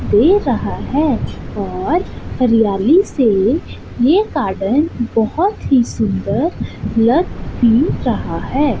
दे रहा है और हरियाली से ये गार्डन बहुत ही सुंदर लग भी रहा है।